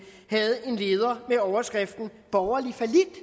havde en leder med overskriften borgerlig fallit